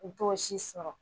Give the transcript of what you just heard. U to si sɔrɔ